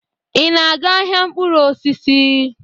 Ị na-aga ahịa mkpụrụ osisi?